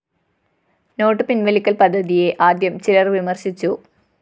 not പിന്‍വലിക്കല്‍ പദ്ധതിയ ആദ്യം ചിലര്‍ വിമര്‍ശിച്ചു